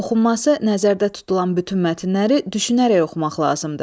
Oxunması nəzərdə tutulan bütün mətnləri düşünərək oxumaq lazımdır.